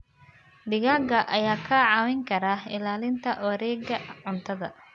Digaagga ayaa kaa caawin kara ilaalinta wareegga cuntada.